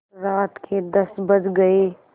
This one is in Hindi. रात के दस बज गये